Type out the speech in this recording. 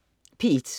P1: